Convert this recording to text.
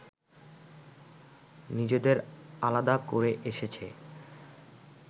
নিজেদের আলাদা করে এসেছে